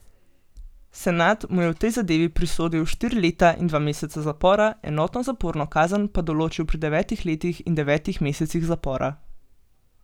Senat mu je v tej zadevi prisodil štiri leta in dva meseca zapora, enotno zaporno kazen pa določil pri devetih letih in devetih mesecih zapora.